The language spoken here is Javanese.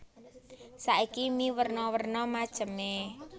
Saiki mie werna werna macemé